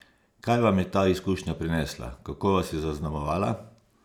Kaj vam je ta izkušnja prinesla, kako vas je zaznamovala?